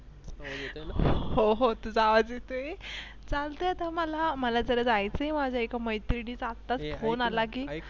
हो हो तुझा आवाज येतोय चालते तुम्हाला मला जरा जायचे माझे एका मैत्रिणीचा फोन आला की